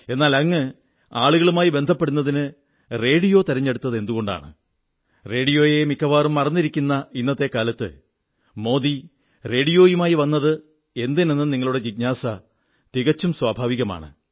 എന്നാൽ അങ്ങ് ആളുകളുമായി ബന്ധപ്പെടുന്നതിന് റേഡിയോ തിരഞ്ഞെടുത്തതെന്തുകൊണ്ടാണ് റേഡിയോയെ മിക്കവാറും മറന്നിരിക്കുന്ന ഇന്നത്തെ കാലത്ത് മോദി റേഡിയോയുമായി വന്നത് എന്തിനെന്ന നിങ്ങളുടെ ഈ ജിജ്ഞാസ തികച്ചും സ്വാഭാവികമാണ്